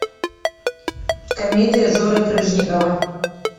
комедия жоры крыжовникова